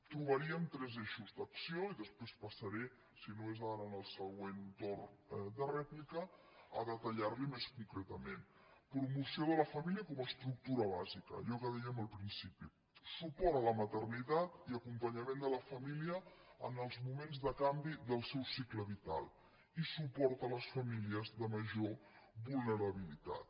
trobaríem tres eixos d’acció i després passaré si no és ara en el següent torn de rèplica a detallar li més concretament promoció de la família com a estructura bàsica allò que dèiem al principi suport a la maternitat i acompanyament de la família en els moments de canvi del seu cicle vital i suport a les famílies de major vulnerabilitat